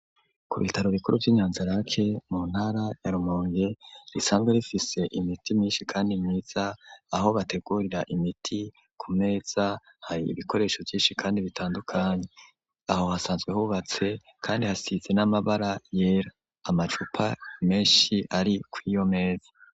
Ku bitaro bikuru vyi nyanza rake mu ntara ya Rumonge risanzwe rifise imiti myinshi kandi myiza .Aho bategurira imiti ku meza hari ibikoresho vyinshi kandi bitandukanye aho hasanzwe hubatse kandi hasize n'amabara yera amacupa menshi ari ku'iyo meza.